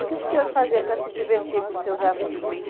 E o que que o senhor fazia para se divertir com os seus amigos?